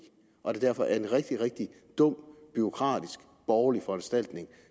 og at det derfor er en rigtig rigtig dum bureaukratisk borgerlig foranstaltning